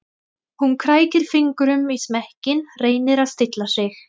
Hún krækir fingrum í smekkinn, reynir að stilla sig.